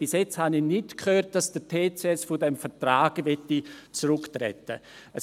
Bis jetzt habe ich nicht gehört, dass der TCS von diesem Vertrag zurücktreten möchte.